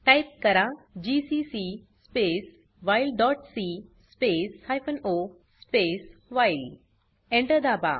type करा GCC space while dot c space hyphen o space while Enter दाबा